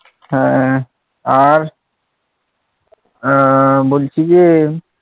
হ্যাঁ আর আহ বলছি যে,